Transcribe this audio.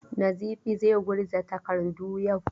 Nizifi zai gurza takardu yau.